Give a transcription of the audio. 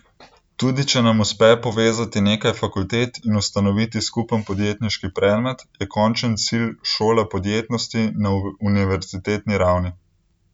Tudi če nam uspe povezati nekaj fakultet in ustanoviti skupen podjetniški predmet, je končen cilj šola podjetnosti na univerzitetni ravni.